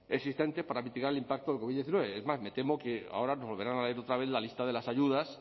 existentes para mitigar el impacto del covid diecinueve es más me temo que ahora nos volverán a leer otra vez la lista de las ayudas